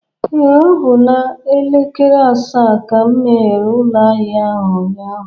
Ee, ọ bụ n'elekere asaa ka m meghere ụlọ ahịa ahịa ụnyaahụ